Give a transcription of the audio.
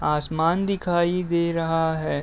आसमान दिखाई दे रहा है।